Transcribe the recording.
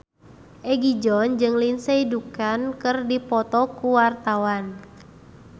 Egi John jeung Lindsay Ducan keur dipoto ku wartawan